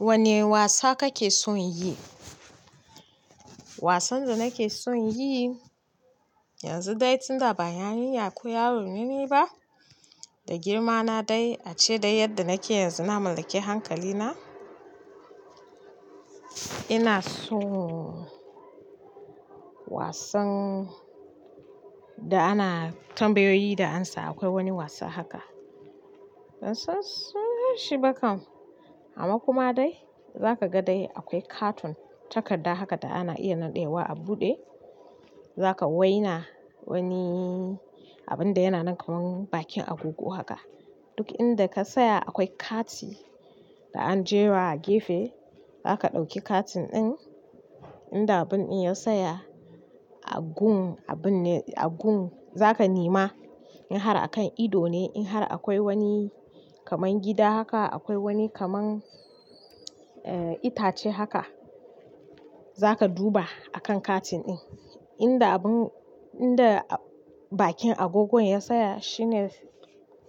Wane wasa kake son yi? Wasan da nake son yi yanzu dai tun da baya rinya ko yaro ne ni ba, da girma na dai ace da yadda nake yanzu na mallaki hankali na. Ina so wasan da ana tambayoyi da amsa. Akwai wani wasa haka, bansan sunan shi ba kam, amma kuma dai zaka ga dai akwai katon takarda haka da ana iya naɗewa a buɗe. Zaka waina wani abun da yana nan kamar bakin agogo haka. Duk inda ka tsaya akwai kati da an jera a gefe, za ka ɗauki katin ɗin inda abun din ya saya a gun abun ne a gun za ka nema in har a kan ido ne, in har akwai wani kamar gida haka, akwai wani kamar itace haka. Za ka duba a kan katin ɗin inda abun inda bakin agogon ya saya shine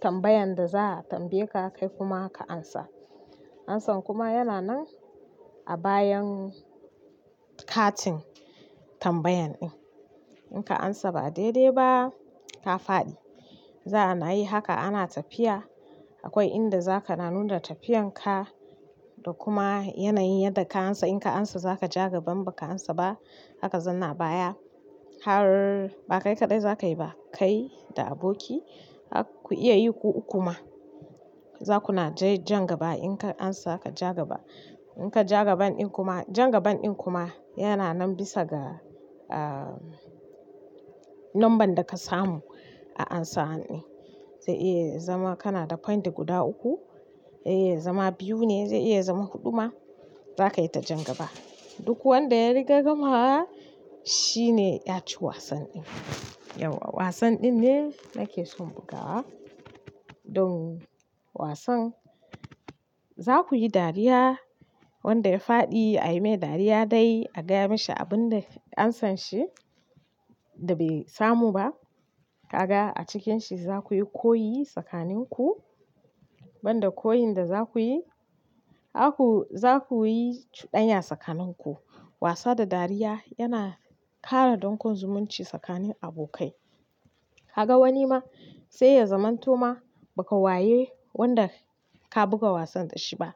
tambayan da za a tambaye ka kai kuma ka amsa. Ansan kuma yana nan a bayan katin tambayan ɗin. In ka amsa ba daidai ba ka faɗi. Za ana yi haka ana tafiya. Akwai inda za ka na nuna tafiyan ka da kuma yanayin yadda ka amsa. In ka amsa za ka ja gaban, ba ka amsa ba haka zanna abaya har ba kai kaɗai za ka yi ba, kai da aboki har ku iya yi ku uku ma. Za ku na te jan gaba. In ka amsa ka ja gaba. In ka ja gaban ɗin kuma, jan gaban ɗin kuma yana nan bisa ga, ah, number da ka samu a amsa wan ɗin. Zai iya zama kana da point guda uku, zai iya zama biyu ne, zai iya zama huɗu ma. Za ka yi ta jan gaba. Duk wanda ya riga gamawa shi ne ya ci wasan ɗin. Yau wasan ɗin ne nake son bugawa don wasan za ku yi dariya. Wanda ya faɗi a yi mai dariya dai a gaya mashi abun da ansan shi da bai samu ba. Kaga a cikin shi za ku yi koyi tsakanin ku. Ban da koyin da za ku yi, haku, za ku yi cuɗanya tsakanin ku. Wasa da dariya yana ƙara donƙon zumunci tsakanin abokai. Kaga wani ma sai ya zaman to ma ba ka waye wanda ka buga wasan da shi ba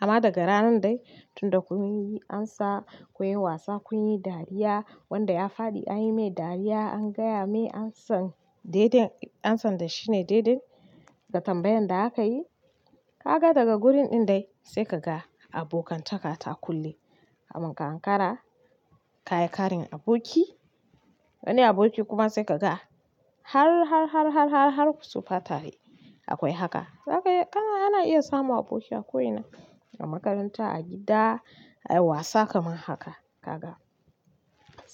amma daga ranan dai tunda kun yi amsa, kun yi wasa, kun yi dariya, wanda ya faɗi an yi mai dariya, an gaya mai ansan daiden, ansan da shine daidin da tambayan da aka yi. Kaga daga gurin ɗin dai sai ka ga abokantaka ta kulle. Kamun ka ankara ka yi ƙarin aboki, wani aboki kuma sai ka ga har, har, har, har, har, har ku tsufa tare akwai haka. Zaka iyi kana ana iya samun aboki a ko ina, a makaranta, a gida, a yi wasa kamar haka. Kaga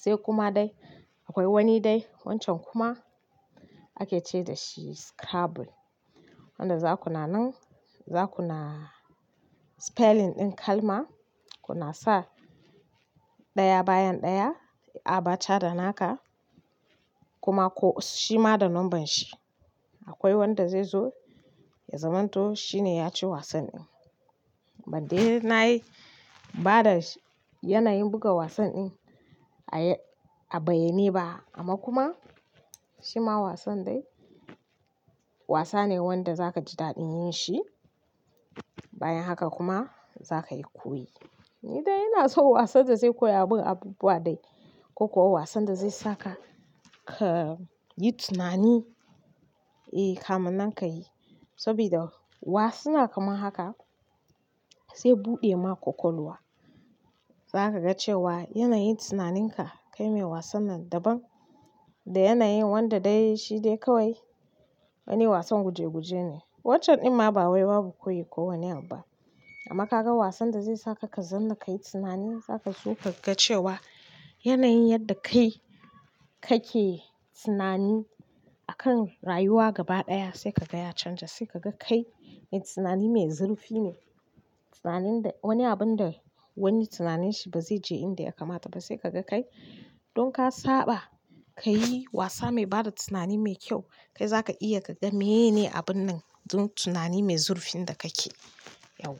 sai kuma dai akwai wani dai wancan kuma ake ce da shi scrabble wanda za ku na nan, za ku na spelling ɗin kalma. Ku na sa ɗaya bayan ɗaya a bacha da naka kuma ko shi ma da numbern shi. Akwai wanda zai zo ya zaman to shi ne ya ci wasan ɗin. Ban dai na yi bada yanayin buga wasan ɗin a a bayyane ba amma kuma shi ma wasan dai wasa ne wanda za ka ji daɗin yin shi bayan haka kuma za ka yi koyi. Ni dai ina so wasan da zai koya abin abubuwa dai ko kuwa wasan da zai saka ka yi tunani, eh, kamun nan ka yi. Sabida wasuna kamar haka zai buɗe ma kwakwalwa. Za ka ga cewa yanayin tunaninka kai mai wasan nan daban da yanayin wanda dai shi dai kawai wani wasan guje guje ne. Wancan ɗin ma ba wai babu koyi ko wani abu ba, amma ka ga wasan da zai saka ka zanna kai tunani, zaka so ka ga cewa yanayin yadda kai kake tunani akan rayuwa gaba ɗaya sai ka ga ya canja, sai ka ga kai mai tunani mai zurfi ne. Tunanin da wani abun da wani tunanin shi ba zai je inda ya kamata ba sai ka ga kai. Don ka saba ka yi wasa mai bada tunani mai kyau, kai za ka iya ka ga me ne abun nan don tunani mai zurfin da kake, yau.